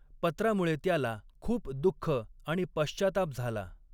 पत्रामुळे त्याला खूप दुःख आणि पश्चाताप झाला.